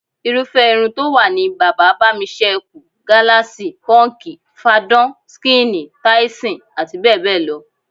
Irúfé̩ irun tó wà ni bàbá-bá-mi-s̩é̩-e̩-kù, gáláàsì, pó̩ǹkì, fadán/skíìnì, táísìn, abbl.